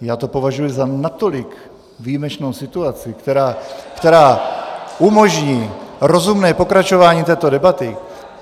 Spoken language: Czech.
Já to považuji za natolik výjimečnou situaci , která umožní rozumné pokračování této debaty...